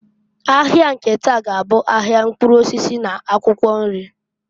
Ahịa nke taa g'abụ ahịa mkpụrụ osisi na akwụkwọ nri.